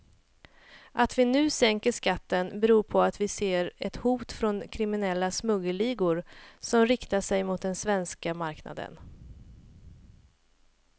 Att vi nu sänker skatten beror på att vi ser ett hot från kriminella smuggelligor som riktar sig mot den svenska marknaden.